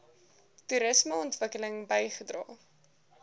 toerisme ontwikkeling bygedra